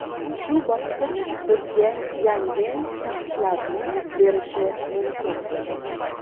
Shu bosqich bizga yangi shaxslarni berishi mumkin.